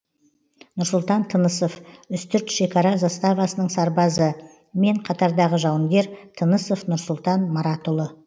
нұрсұлтан тынысов үстірт шекара заставасының сарбазы мен қатардағы жауынгер тынысов нұрсұлтан маратұлы